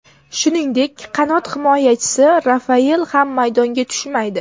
Shuningdek, qanot himoyachisi Rafael ham maydonga tushmaydi.